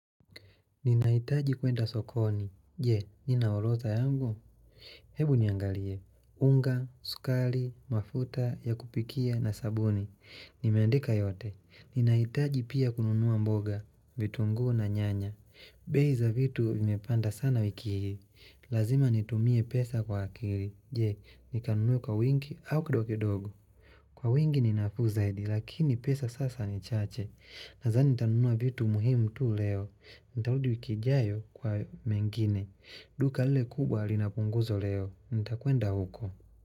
Ninahitaji kwenda sokoni. Je, nina orodha yangu? Hebu niangalie. Unga, sukari, mafuta ya kupikia na sabuni. Nimeandika yote. Ninahitaji pia kununua mboga, vitunguu na nyanya. Bei za vitu imepanda sana wiki hii. Lazima nitumie pesa kwa akili. Je, nikanunue kwa wingi au kidogo kidogo. Kwa wingi ni nafuu zaidi, lakini pesa sasa ni chache. Nadhani nitanunua vitu muhimu tu leo nitarudi wiki ijayo kwa mengine duka lile kubwa lina punguzo leo nitakwenda uko.